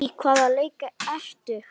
Í hvaða leik ertu?